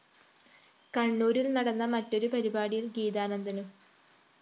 കണ്ണൂരില്‍ നടന്ന മറ്റൊരു പരിപാടിയില്‍ ഗീതാനന്ദനും എം